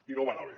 i no va anar bé